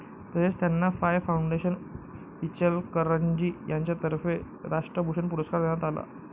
तसेच त्यांना फाय फाऊंडेशन, इचलकरंजी यांच्यातर्फे राष्ट्रभूषण पुरस्कार देण्यात आला.